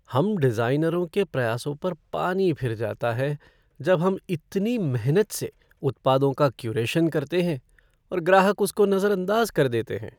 हम डिज़ाइनरों के प्रयासों पर पानी फिर जाता है जब हम इतनी मेहनत से उत्पादों का क्यूरेशन करते हैं और ग्राहक उसको नज़रअंदाज़ कर देते हैं।